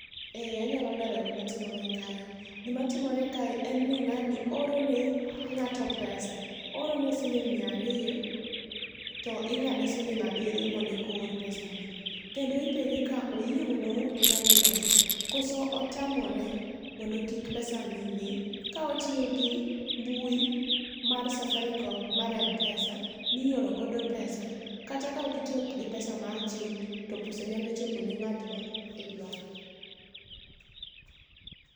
Ee anyalo lero gima timore kae, gima timore kae en ni, ngáni ooro ne ngáto pesa. Ooro ne siling mia ariyo, to ingáde siling abiriyo mondo eka oor pesani. Kendo ipenje ka oyie mondo oorne ngáni pesa, koso otamore, mondo kik pesani dhi, ka otiyo gi mbui mar Safaricom mar Mpesa, mioro godo pesa, kata kaokitiyo gi pesa mar ching to pesa nyalo chopo ne ngát ma idwaro.